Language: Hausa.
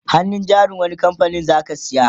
hannun jarin wani kamfanin zaka saya?